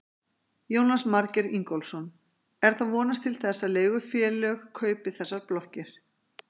Jónas Margeir Ingólfsson: Er þá vonast til þess að leigufélög kaupi þessar blokkir?